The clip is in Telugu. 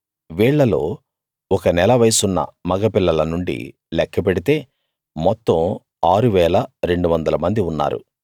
వీళ్ళలో ఒక నెల వయసున్న మగ పిల్లల నుండి లెక్క పెడితే మొత్తం 6 200 మంది ఉన్నారు